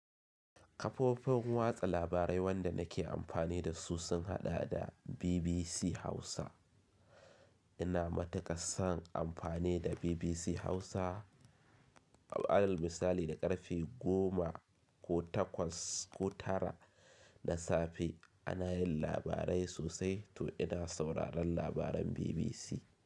Kafofin watsa labarai wanda nake amfani da su sun haɗa da BBC Hausa. Ina matuƙan son amfani da BBC Hausa. Alal misali da ƙarfe goma ko takwas ko tara na safe ana yin labarai sosai to ina sauraron labaran BBC.